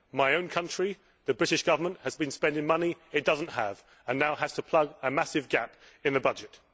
In my own country, the British Government has been spending money it does not have and now has to plug a massive gap in the budget.